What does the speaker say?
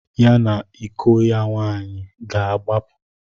Ya na iko ya nwaanyị ga-agbapụ.